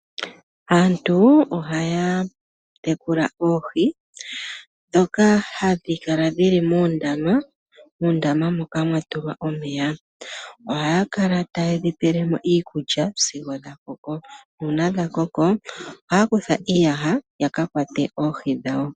Aantu ohaya tekula oohi ndhoka hadhi kala moondama moka mwa tulwa omeya. Ohaya kala taye dhi tu lile mo iikulya sigo tadhi koko. Ngele dha koko ohaya kutha iiyaha ya kakwate oohi dhawo.